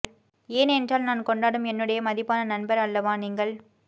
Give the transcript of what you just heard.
ஏன் என்றால் நான் கொண்டாடும் என்னுடைய மதிப்பான நண்பர் அல்லவா நீங்கள்